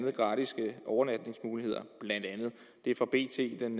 er gratis overnatningsmuligheder blandt andet det er fra bt den